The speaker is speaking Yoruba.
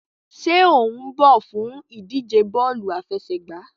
Ṣe o n bọ fun idije bọọlu afẹsẹgba?